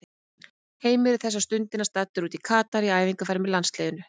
Heimir er þessa stundina staddur út í Katar í æfingaferð með landsliðinu.